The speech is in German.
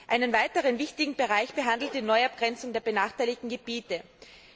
Einen weiteren wichtigen Bereich stellt die Neuabgrenzung der benachteiligten Gebiete dar.